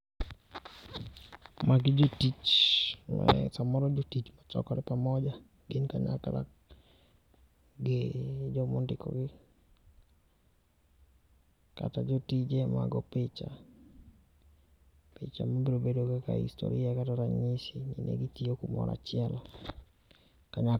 Magi jotich. Samoro jotich chokore pamoja gin kanyakla gi jo ma ondikogi kata jotije ma go picha. Picha ni biro bedo kaka historia kata ranyisi ni ne gi tiyo ka moro achiel.